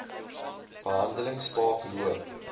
behandeling staak loop